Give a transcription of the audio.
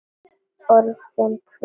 Orðin hvell.